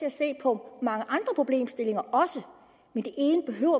at se på mange andre problemstillinger